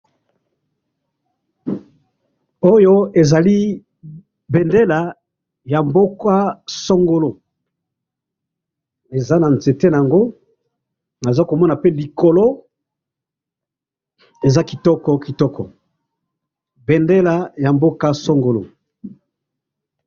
oyo ezali bendela ya mboka songolo eza na nzete nango nazokomana yango pe likolo eza kitoko kitoko bendela ya mboka songolo.